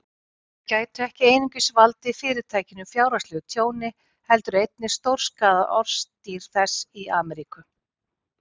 Þau gætu ekki einungis valdið Fyrirtækinu fjárhagslegu tjóni, heldur einnig stórskaðað orðstír þess í Ameríku.